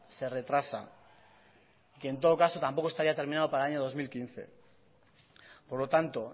se retrasa que en todo caso tampoco estaría terminado para el año dos mil quince por lo tanto